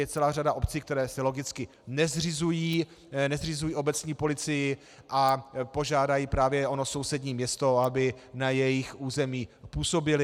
Je celá řada obcí, které si logicky nezřizují obecní policii a požádají právě ono sousední město, aby na jejich území působila.